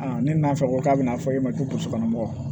ne nana fɛ ko k'a bɛna fɔ e ma ko burusikɔnɔ mɔgɔ